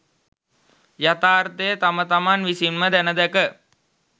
යථාර්ථය තම තමන් විසින්ම දැන දැක